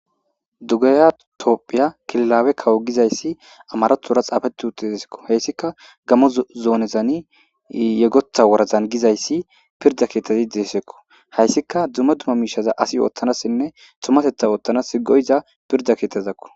Dugaya topphiya kililaawe kawo giza issi amarotora xaafeti uti desikko. Hayssika gamo zoonezani yegota woradan giza issi pirda keettazi deesikko. Hayssika dumma dumma miishaza asi oottanassinne tumateta oottana go'anazi pirda keettazakko.